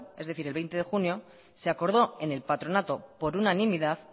es decir el veinte de junio se acordó en el patronato por unanimidad